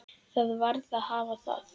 Það varð að hafa það.